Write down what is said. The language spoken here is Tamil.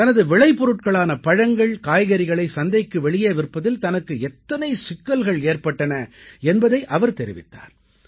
தனது விளைபொருட்களான பழங்கள் காய்கறிகளைச் சந்தைக்கு வெளியே விற்பதில் தனக்கு எத்தனை சிக்கல்கள் ஏற்பட்டன என்பதை அவர் தெரிவித்தார்